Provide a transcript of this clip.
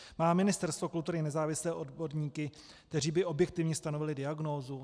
Má Ministerstvo kultury nezávislé odborníky, kteří by objektivně stanovili diagnózu?